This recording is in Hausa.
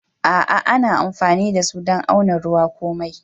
A'a ana amfanin da su dan auna ruwa ko mai.